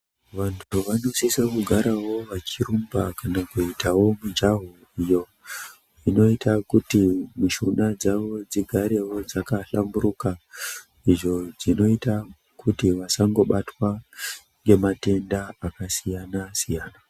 Vantu vanosisawo kugara vachirumba kana kuitawo mijaho iyo inoita kuti mishuna dzawo dzigarewo dzakahlamburuka, izvo zvinoita kuti vasangobatwa ngematenda akasiyana-siyana.